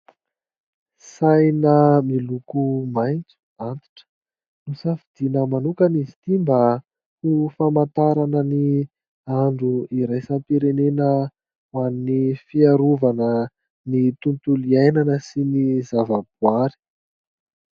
Saina miloko maitso antitra no safidiana manokana izy ity mba ho famantarana ny andro iraisam-pirenena ho an'ny fiarovana ny tontolo iainana sy ny zavaboaary.